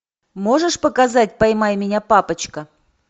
можешь показать поймай меня папочка